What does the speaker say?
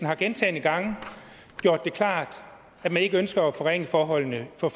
har gentagne gange gjort det klart at man ikke ønsker at forringe forholdene for